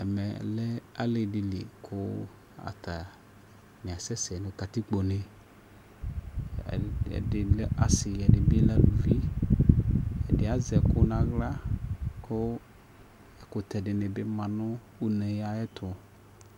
Ɛmɛ lɛ ali di li kʋ atani asɛsɛ nʋ katikpo ne Ɛn ɛdi lɛ asi ɛdi bi lɛ alʋvi Ɛdi azɛ ɛkʋ naɣla kʋ ɛkʋtɛ dini bi ma nʋ une ayɛ tʋ